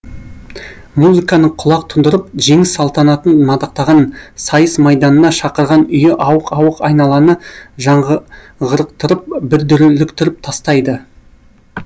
музыканың құлақ тұндырып жеңіс салтанатын мадақтаған сайыс майданына шақырған үйі ауық ауық айналаны жаңғырықтырып бір дүрліктіріп тастайды